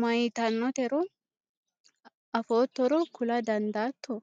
mayiitannotero afoottoro kula dandaatto?